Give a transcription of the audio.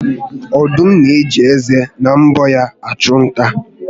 Ọdụm na-eji ezé na mbọ ya achụ nta